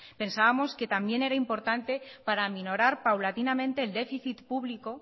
pensábamos que también era importante para minorar paulatinamente el déficit público